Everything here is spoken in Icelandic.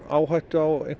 áhættu á